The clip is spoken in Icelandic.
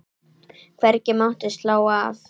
Hvergi mátti slá af.